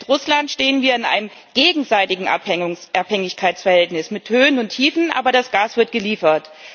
Mit Russland stehen wir in einem gegenseitigen Abhängigkeitsverhältnis mit Höhen und Tiefen, aber das Gas wird geliefert.